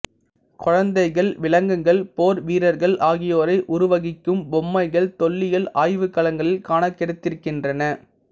குழந்தைகள் விலங்குகள் போர் வீரர்கள் ஆகியோரை உருவகிக்கும் பொம்மைகள் தொல்லியல் ஆய்வுக்களங்களில் காணக் கிடைத்திருக்கின்றன